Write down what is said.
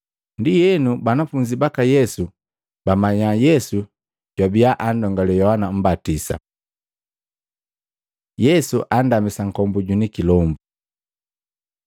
Ndienu banafunzi baka Yesu bamanya Yesu jwabia anndongale Yohana Mmbatisa. Yesu andamisa nkombu jwini kilombu Maluko 9:14-29; Luka 9:37-43